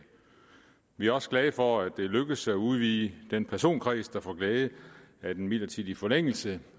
vi er også glade for at det er lykkedes at udvide den personkreds der får glæde af en midlertidig forlængelse